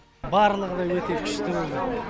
барлығы да өте күшті өтті